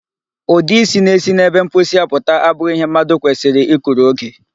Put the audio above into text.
Ụdị isi na-esi n'ebe mposi apụta abụghị ihe mmadụ kwesịrị i kuru oge.